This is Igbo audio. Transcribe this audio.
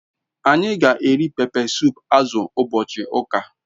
Anyi g'eri pepe sup azu ubochi uka